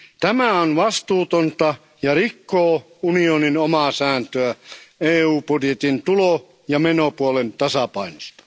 Tämä on vastuutonta ja rikkoo unionin omaa sääntöä EU budjetin tulo ja menopuolen tasapainosta.